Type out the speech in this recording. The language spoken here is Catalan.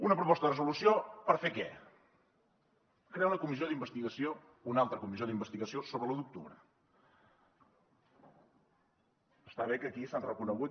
una proposta de resolució per fer què crear una comissió d’investigació una altra comissió d’investigació sobre l’u d’octubre està bé que aquí s’han reconegut